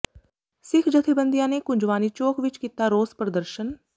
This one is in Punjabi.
ਸਿੱਖ ਜਥੇਬੰਦੀਆਂ ਨੇ ਕੁੰਜਵਾਨੀ ਚੌਕ ਵਿਚ ਕੀਤਾ ਰੋਸ ਪ੍ਰਦਰਸ਼ਨ